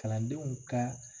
Kalandenw ka